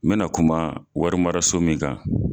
N mɛ na kuma wari mara so min kan.